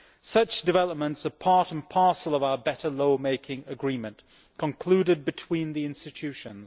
Such developments are part and parcel of the better lawmaking agreement concluded between the institutions.